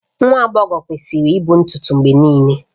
Nwa agbọghọ kwesịrị ịkpụ ntutu mgbe niile